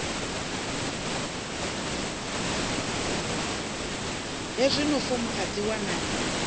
hezwio fomo a dzi wanalei